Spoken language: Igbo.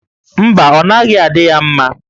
Mba, ọ naghị adị ya mma